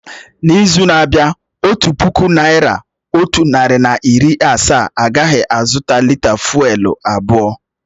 N'izu na-abịa, otu puku naira, otu narị na iri asaa agaghị azụta lị́tà fụ́élú abụọ